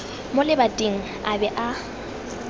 mo lebating a be a